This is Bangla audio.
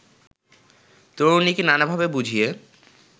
তরুণীকে নানাভাবে বুঝিয়ে